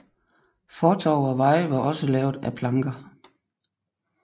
Fortove og veje var også lavet af planker